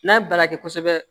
N'a baara kɛ kosɛbɛ